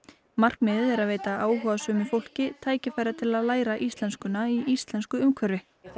markmiðið er að veita áhugasömu fólki tækifæri til að læra íslensku í íslensku umhverfi þá